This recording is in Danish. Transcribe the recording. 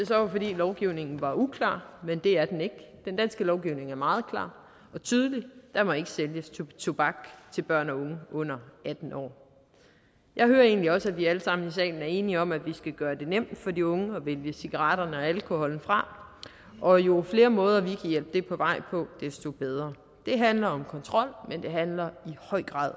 være fordi lovgivningen var uklar men det er den ikke den danske lovgivning er meget klar og tydelig der må ikke sælges tobak til børn og unge under atten år jeg hører egentlig også at vi alle sammen i salen er enige om at vi skal gøre det nemt for de unge at vælge cigaretterne og alkoholen fra og jo flere måder vi kan hjælpe det på vej på desto bedre det handler om kontrol men det handler i høj grad